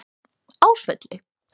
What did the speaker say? Ásvelli